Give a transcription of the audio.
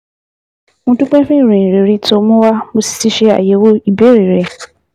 Mo dúpẹ́ fún ìròyìn rere tó o mú wá, wá, mo sì ti ṣe àyẹ̀wò ìbéèrè rẹ